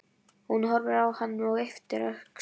Hún horfir á hann og ypptir öxlum.